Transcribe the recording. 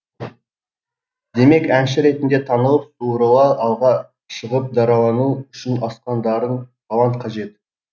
демек әнші ретінде танылып суырыла алға шығып даралану үшін асқан дарын талант қажет